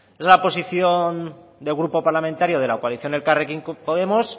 es una posición del grupo parlamentario de la coalición de elkarrekin podemos